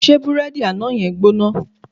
Ṣé burẹdi àná yen gbóná?